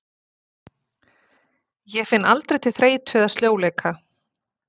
Ég finn aldrei til þreytu eða sljóleika.